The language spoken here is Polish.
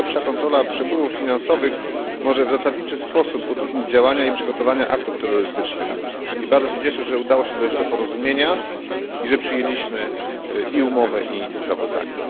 Lepsza kontrola przepływów finansowych może w zasadniczy sposób utrudnić działania i przygotowania do aktów terrorystycznych. I bardzo się cieszę, że udało się dojść do porozumienia, i że przyjęliśmy i umowę, i sprawozdanie.